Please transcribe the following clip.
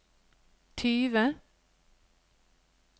tyve